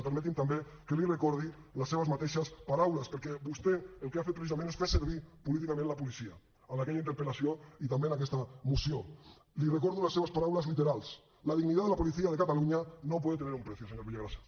i permeti’m també que li recordi les seves mateixes paraules perquè vostè el que ha fet precisament és fer saber políticament la policia en aquella interpel·lació i també en aquesta moció li recordo les seves paraules literals la dignidad de la policía de cataluña no puede tener un precio senyor villagrasa